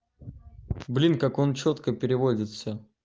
блин как он чётко переводит всё